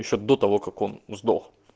ещё до того как он сдох